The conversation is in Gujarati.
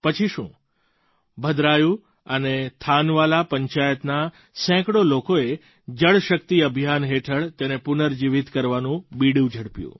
પછી શું ભદ્રાયુ અને થાનવાલા પંચાયતના સેંકડો લોકોએ જળશક્તિ અભિયાન હેઠળ તેને પુનર્જીવિત કરવાનું બીડું ઝડપ્યું